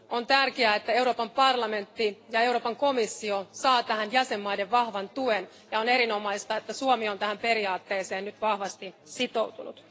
On tärkeää, että Euroopan parlamentti ja Euroopan komissio saavat tähän jäsenvaltioiden vahvan tuen, ja on erinomaista, että Suomi on tähän periaatteeseen nyt vahvasti sitoutunut.